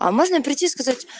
а можно прийти сказать